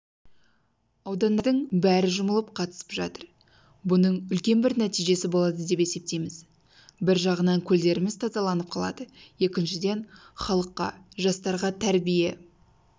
аудандардың бәрі жұмылып қатысып жатыр бұның үлкен бір нәтижесі болады деп есептейміз бір жағынан көлдеріміз тазаланып қалады екіншіден халыққа жастарға тәрбие